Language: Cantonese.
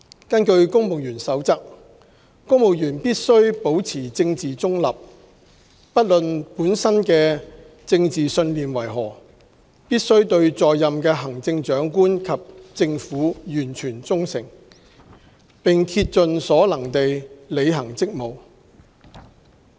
根據《公務員守則》，公務員必須保持政治中立，不論本身的政治信念為何，必須對在任的行政長官及政府完全忠誠，並竭盡所能地履行職務。